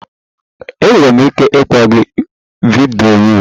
Enwere m ike ịkpọ gị vidiyo?